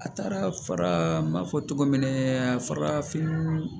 A taara fara mɔfɔ cogo mina farafin